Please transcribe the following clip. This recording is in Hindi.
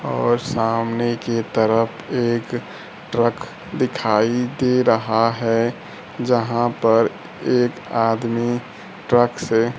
और सामने की तरफ एक ट्रक दिखाई दे रहा है यहां पर एक आदमी ट्रक से--